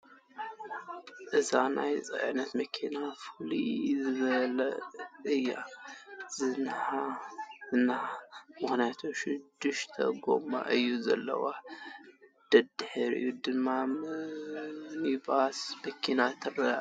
እዛ ናይ ፅእነት መኪና ፍልይ ዝበለት እያ ዝንሃ ምኽንያቱም ሹድሽተ ጎማ እዩ ዘለዋ ፡ ደድሕሪኣ ድማ ምኒባስ መኪና ትኽተላ ኣላ ።